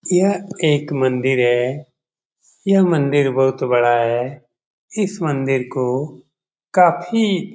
यह एक मंदिर है। यह मंदिर बहुत बड़ा है। इस मंदिर को काफी --